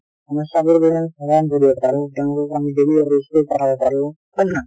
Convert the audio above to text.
সমস্যা বোৰ যদি আমি সমধান কৰিব পাৰো , তেওঁলোককো আমি daily school পঠাব পৰো , হয় নে নহয়।